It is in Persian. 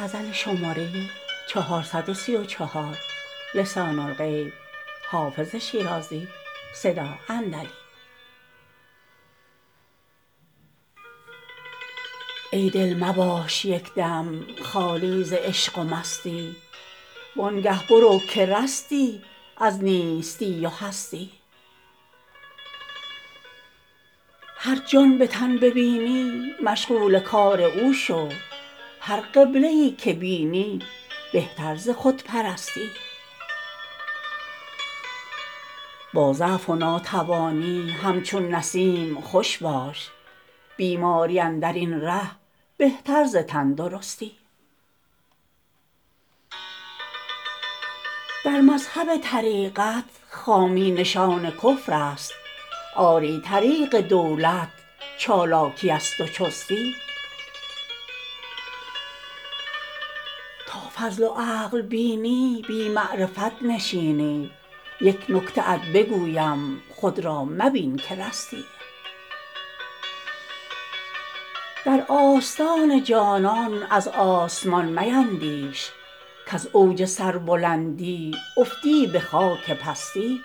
ای دل مباش یک دم خالی ز عشق و مستی وان گه برو که رستی از نیستی و هستی گر جان به تن ببینی مشغول کار او شو هر قبله ای که بینی بهتر ز خودپرستی با ضعف و ناتوانی همچون نسیم خوش باش بیماری اندر این ره بهتر ز تندرستی در مذهب طریقت خامی نشان کفر است آری طریق دولت چالاکی است و چستی تا فضل و عقل بینی بی معرفت نشینی یک نکته ات بگویم خود را مبین که رستی در آستان جانان از آسمان میندیش کز اوج سربلندی افتی به خاک پستی